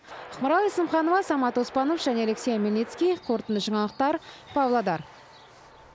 ақмарал есімханова самат оспанов және алексей омельницкий қорытынды жаңалықтар павлодар